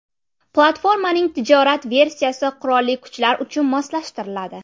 Platformaning tijorat versiyasi qurolli kuchlar uchun moslashtiriladi.